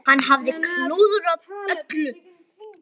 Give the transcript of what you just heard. Hann hafði klúðrað öllu.